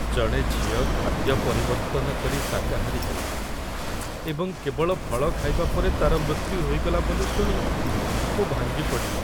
ଜଣେ ଝିଅ ଖାଦ୍ୟ ପରିବର୍ତ୍ତନ କରି ଶାକାହାରୀ ହେଲା, ଏବଂ କେବଳ ଫଳ ଖାଇବା ପରେ ତା'ର ମୃତ୍ୟୁ ହୋଇଗଲା ବୋଲି ଶୁଣି ମୁଁ ଭାଙ୍ଗି ପଡ଼ିଲି।